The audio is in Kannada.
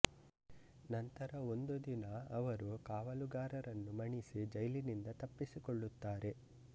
ನಂತರ ಒಂದು ದಿನ ಅವರು ಕಾವಲುಗಾರರನ್ನು ಮಣಿಸಿ ಜೈಲಿನಿಂದ ತಪ್ಪಿಸಿಕೊಳ್ಳುತ್ತಾರೆ